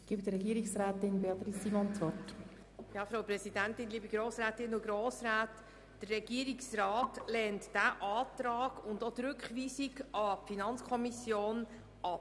Der Regierungsrat lehnt diesen Antrag und auch die Rückweisung an die FiKo ab.